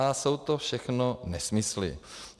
Až jsou to všechno nesmysly.